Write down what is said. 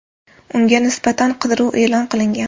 Unga nisbatan qidiruv e’lon qilingan.